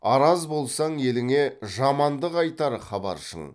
араз болсаң еліңе жамандық айтар хабаршың